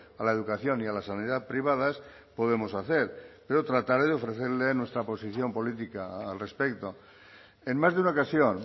a la educación ni a la sanidad privadas podemos hacer pero trataré de ofrecerle nuestra posición política al respecto en más de una ocasión